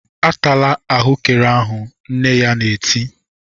"Atala ahụekere ahụ!" Nne ya na-eti.